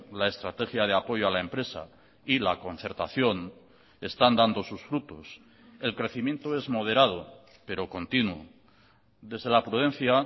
la estrategia de apoyo a la empresa y la concertación están dando sus frutos el crecimiento es moderado pero continuo desde la prudencia